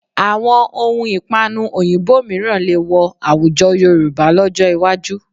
Àwọn ohun ìpanu òyìnbó mìíràn lè wọ àwùjọ Yorùbá lọ́jọ́ iwájú